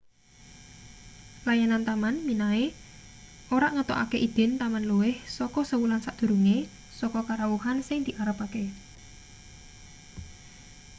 layanan taman minae ora ngetokake idin taman luwih saka sewulan sadurunge saka karawuhan sing diarepake